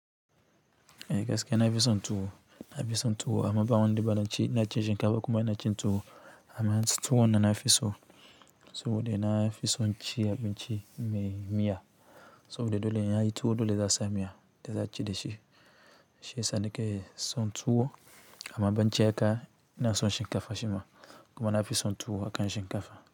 Ehh kaska na fi son tuwo, na fi son tuwo amma ba wanda ban ci, ina ci shinkafa kuma ina cin tuwo amma tuwonnan na nafi so. Saboda nafi son ci abinci mai miya, saboda dole in an yi tuwo dole za a sa miya da za a ci da shi. Shi yasa nake son tuwo amma baccin haka, ina son shinkafa shi ma kuma nafi son tuwo akan shinkafa.